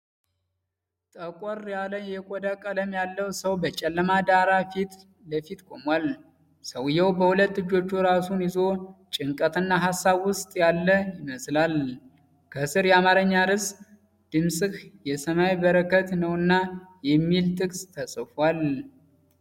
ጠቆር ያለ የቆዳ ቀለም ያለው ሰው በጨለማ ዳራ ፊት ለፊት ቆሟል። ሰውዬው በሁለት እጆቹ ራሱን ይዞ ጭንቀትና ሀሳብ ውስጥ ያለ ይመስላል። ከስር የአማርኛ ርዕስ ድምጽህ የሰማይ በረከት ነውና የሚል ጥቅስ ተጽፏል።